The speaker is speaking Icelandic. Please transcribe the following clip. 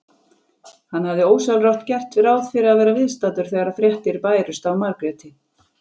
Hann hafði ósjálfrátt gert ráð fyrir að vera viðstaddur þegar fréttir bærust af Margréti.